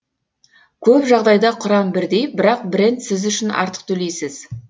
көп жағдайда құрам бірдей бірақ бренд сіз үшін артық төлейсіз